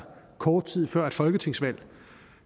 kort tid før et folketingsvalg